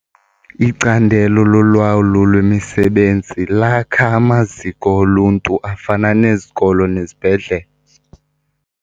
Icandelo lolawulo lwemisebenzi lakha amaziko oluntu afana nezikolo nezibhedlele.